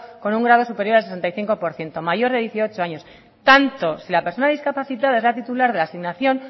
con un grado superior al sesenta y cinco por ciento mayor de dieciocho años tanto si la persona discapacitada es la titular de la asignación